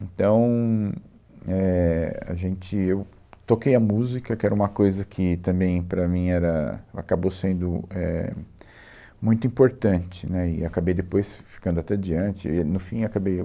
Então, éh, a gente, eu, toquei a música, que era uma coisa que também para mim era, acabou sendo, éh, muito importante, né, e acabei depois ficando até diante e. No fim, acabei